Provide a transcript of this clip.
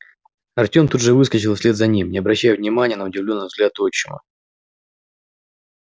артем тут же выскочил вслед за ним не обращая внимания на удивлённый взгляд отчима